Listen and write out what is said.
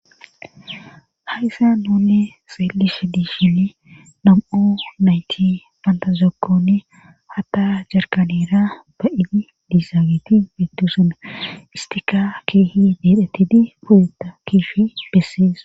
Hayssa nuune xeelish diishin nam7o nayti bantazokkoni hatta jarkanera ba7idi diizaageti beettu suna istika keehi dedhetidi pozuta kifi bessees.